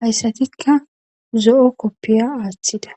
hayssatikka zo7o koppiya aaththida.